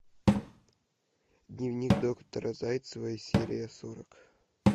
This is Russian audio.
дневник доктора зайцевой серия сорок